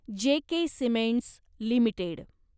जे K cements limited